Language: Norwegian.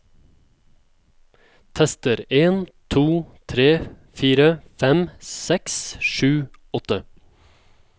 Tester en to tre fire fem seks sju åtte